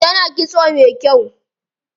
Tana kitso mai kyau.